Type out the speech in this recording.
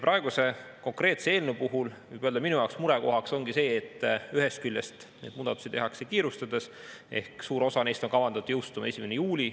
Praeguse konkreetse eelnõu puhul võib öelda, et minu jaoks murekoht ongi see, et ühest küljest neid muudatusi tehakse kiirustades: suur osa neist on kavandatud jõustuma 1. juulil.